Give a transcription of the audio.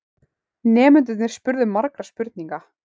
Nemendurnir spurðu margra spurninga.